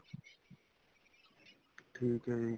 ਠੀਕ ਏ ਜੀ